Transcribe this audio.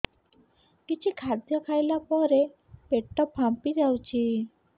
କିଛି ଖାଦ୍ୟ ଖାଇଲା ପରେ ପେଟ ଫାମ୍ପି ଯାଉଛି